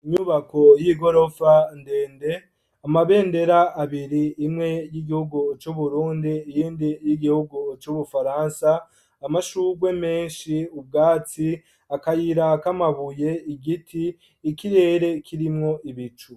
Inyubako y'igorofa, ndende, amabendera abiri; imwe, y'igihugu c'uburundi, iyindi, y'igihugu c'Ubufaransa; amashurwe menshi, ubwatsi, akayira k'amabuye; igiti, ikirere kirimwo ibicu.